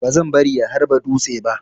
Bazan bari ya harba dutse ba.